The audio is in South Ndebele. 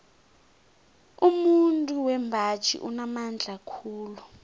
umuntu wembaji unamandla khulu